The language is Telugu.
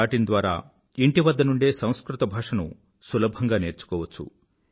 in ద్వారా ఇంటి వద్ద నుండే సంస్కృత భాషను సులభంగా నేర్చుకోవచ్చు